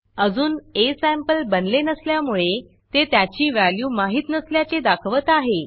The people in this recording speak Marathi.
अजून असंपले बनले नसल्यामुळे ते त्याची व्हॅल्यू माहित नसल्याचे दाखवत आहे